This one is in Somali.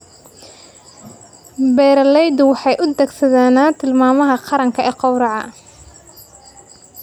Beeraleydu waxay u adeegsadaan tilmaamaha qaranka ee gowraca.